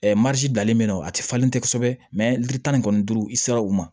danlen be yen nɔ a ti falen tɛ kosɛbɛ li tan ni kɔnɔnturu i sera u ma